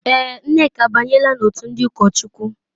Èè,, Nneka abanyela n'òtù ndị ụkọchukwu.